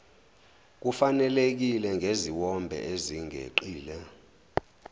kufanelekile ngeziwombe ezingeqile